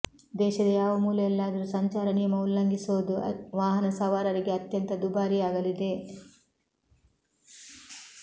ದೇಶದ ಯಾವ ಮೂಲೆಯಲ್ಲಾದ್ರೂ ಸಂಚಾರ ನಿಯಮ ಉಲ್ಲಂಘಿಸೋದು ವಾಹನ ಸವಾರರಿಗೆ ಅತ್ಯಂತ ದುಬಾರಿಯಾಗಲಿದೆ